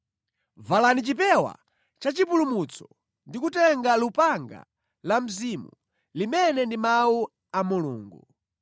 Valani chipewa cha chipulumutso ndi kutenga lupanga la mzimu, limene ndi Mawu a Mulungu.